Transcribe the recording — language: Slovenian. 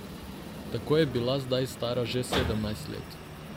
Tako je bila zdaj stara že sedemnajst let.